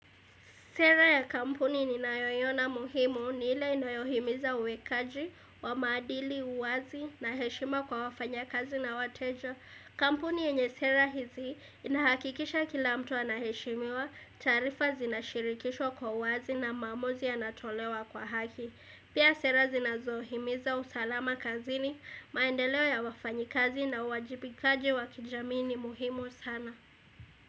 Sera ya kampuni ninayoiona muhimu ni ile inayohimiza uwekaji wa madili, uwazi na heshima kwa wafanyakazi na wateja. Kampuni yenye sera hizi inahakikisha kila mtu anaheshimiwa, taarifa zinashirikishwa kwa uwazi na maamuzi yanatolewa kwa haki. Pia sera zinazohimiza usalama kazini maendeleo ya wafanyikazi na uwajibikaji wa kijamii ni muhimu sana.